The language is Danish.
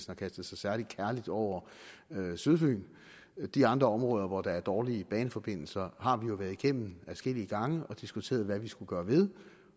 har kastet sig særlig kærligt over sydfyn de andre områder hvor der er dårlige baneforbindelser har vi jo været igennem adskillige gange og diskuteret hvad vi skulle gøre ved